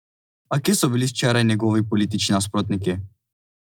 A kje so bili včeraj njegovi politični nasprotniki?